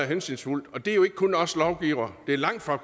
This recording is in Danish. hensynsfuldt og det er jo ikke kun os lovgivere langtfra